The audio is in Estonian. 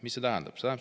" Mida see tähendab?